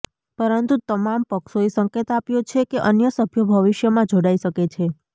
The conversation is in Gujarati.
પરંતુ તમામ પક્ષોએ સંકેત આપ્યો છે કે અન્ય સભ્યો ભવિષ્યમાં જોડાઇ શકે છે